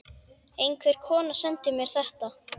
Einhver kona sendi mér þetta.